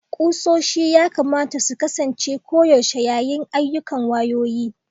ƙusoshi ya kamata su kasance koyaushe yayin ayyukan wayoyi